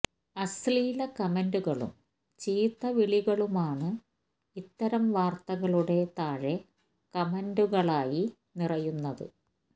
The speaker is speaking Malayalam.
അശ്ലീല കമന്റുകളും ചീത്ത വിളികളുമാണ് ഇത്തരം വാര്ത്തകളുടെ താഴെ കമന്റുകളായി നിറയുന്നത്